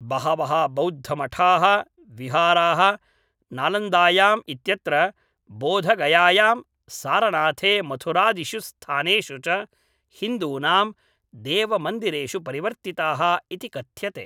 बहवः बौद्धमठाः विहाराः, नालन्दायां इत्यत्र, बोधगयायां, सारनाथे मथुरादिषु स्थानेषु च हिन्दूनां देवमन्दिरेषु परिवर्तिताः इति कथ्यते।